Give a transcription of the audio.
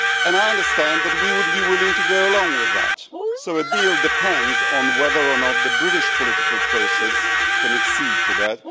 I understand that we would be willing to go along with that, so a deal depends on whether or not the British political process can accede to that.